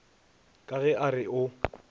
ka ge a re o